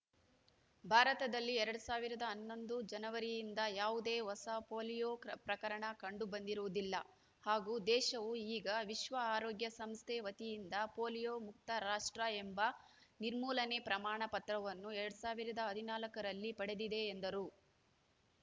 ಭಾರತದಲ್ಲಿ ಎರಡ್ ಸಾವಿರದ ಹನ್ನೊಂದು ಜನವರಿಯಿಂದ ಯಾವುದೇ ಹೊಸ ಪೋಲಿಯೋ ಪ್ರಕರಣ ಕಂಡು ಬಂದಿರುವುದಿಲ್ಲ ಹಾಗೂ ದೇಶವು ಈಗ ವಿಶ್ವ ಆರೋಗ್ಯ ಸಂಸ್ಥೆ ವತಿಯಿಂದ ಪೋಲಿಯೋ ಮುಕ್ತ ರಾಷ್ಟ್ರ ಎಂಬ ನಿರ್ಮೂಲನೆ ಪ್ರಮಾಣ ಪತ್ರವನ್ನು ಎರಡ್ ಸಾವಿರದ ಹದನಾಲ್ಕ ರಲ್ಲಿ ಪಡೆದಿದೆ ಎಂದರು